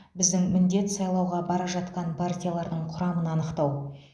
біздің міндет сайлауға бара жатқанын партиялардың құрамын анықтау